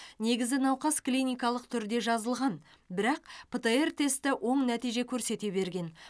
негізі науқас клиникалық түрде жазылған бірақ птр тесті оң нәтиже көрсете берген